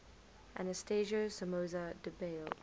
anastasio somoza debayle